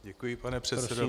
Děkuji, pane předsedo.